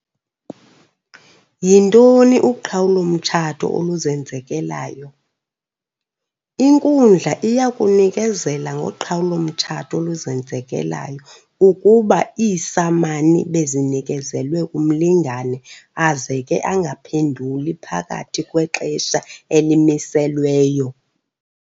Yintoni uqhawulo-mtshato oluzenzekelayo? Inkundla iyakunikezela ngoqhawulo-mtshato oluzenzekelayo ukuba iisamani bezinikezelwe umlingane aze ke angaphenduli phakathi kwexesha elimiselweyo.